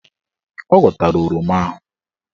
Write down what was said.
Ọ ghọtara oroma ahụ.